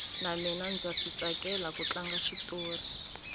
na mina ndza switsakela ku tlanga xitori